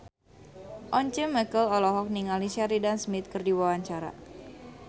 Once Mekel olohok ningali Sheridan Smith keur diwawancara